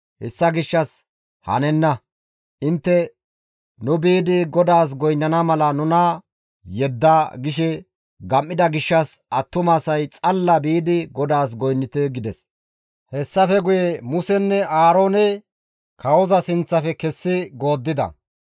Hessa gishshas hanenna; intte, ‹Nu biidi GODAAS goynnana mala nuna yedda› gishe gam7ida gishshas attumasay xalla biidi GODAAS goynnite» gides. Hessafe guye Musenne Aaroone kawoza sinththafe kessi gooddida.